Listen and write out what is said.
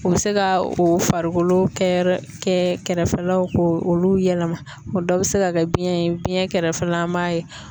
U bɛ se ka o farikolo kɛ yɔrɔ kɛ kɛrɛfɛlaw ko olu yɛlɛma o dɔ bɛ se ka kɛ biyɛn ye biyɛn kɛrɛfɛla an b'a ye